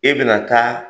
E bɛna taa